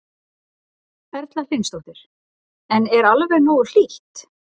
Erla Hlynsdóttir: En er alveg nógu hlýtt?